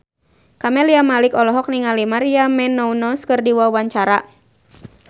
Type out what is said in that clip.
Camelia Malik olohok ningali Maria Menounos keur diwawancara